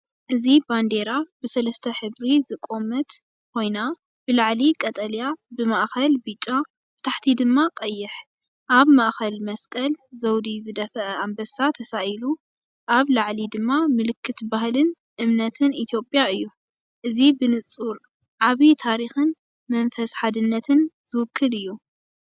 እዚ ባንዴራ ብሰለስተ ሕብሪ ዝቖመት ኮይና፡ ብላዕሊ ቀጠልያ፡ ብማእከል ብጫ፡ ብታሕቲ ድማ ቀይሕ። ኣብ ማእኸል መስቀል ዘውዲ ዝደፍአ ኣንበሳ ተሳኢሉ፣ ኣብ ላዕሊ ድማ ምልክት ባህልን እምነትን ኢትዮጵያ እዩ። እዚ ብንጹር ዓቢ ታሪኽን መንፈስ ሓድነትን ዝውክል እዩ።